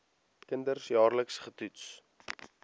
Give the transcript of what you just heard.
kinders jaarliks getoets